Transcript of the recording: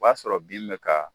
O b'a sɔrɔ bin bɛ ka